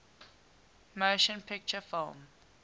motion picture film